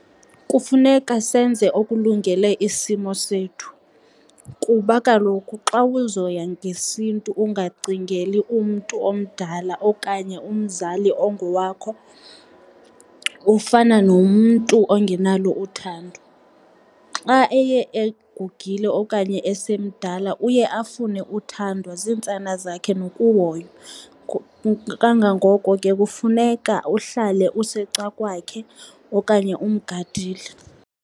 Kufuneka senze okulungele isimo sethu kuba kaloku xa uzoya ngesiNtu ungacingeli umntu omdala okanye umzali ongowakho, ufana nomntu ongenalo uthando. Xa eye egugile okanye esemdala uye afune uthandwa ziintsana zakhe nokuhoywa, kangangoko ke kufuneka uhlale usecakwakhe okanye umgadile.